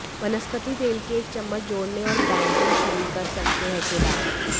वनस्पति तेल के एक चम्मच जोड़ने और बेकिंग शुरू कर सकते हैं के बाद